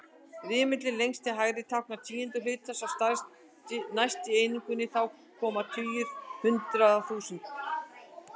Rimillinn lengst til hægri táknar tíundu hluta, sá næsti einingu, þá koma tugur, hundrað, þúsund.